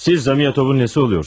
Siz Zamyotovun nəyi olursunuz?